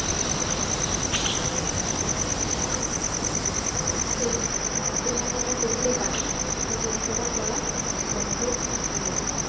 সেই কেনা কাটা করতে পারি কেনাকাটা করা সম্ভব নোই